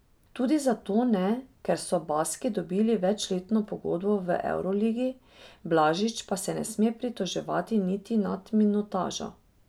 Tudi zato ne, ker so Baski dobili večletno pogodbo v evroligi, Blažič pa se ne sme pritoževati niti nad minutažo.